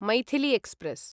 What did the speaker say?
Maithili express